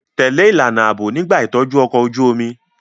Tẹ̀lé ìlànà ààbò nígbà ìtọ́jú ọkọ̀ ojú omi